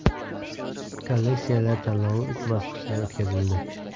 Kolleksiyalar tanlovi uch bosqichda o‘tkazildi.